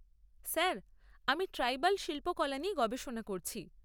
Sir, আমি tribal শিল্পকলা নিয়ে গবেষণা করছি।